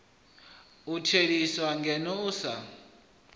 u theliswaho ngeno u sa